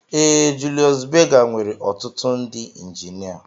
Ee Julius Berger nwere ọtụtụ ndị injinia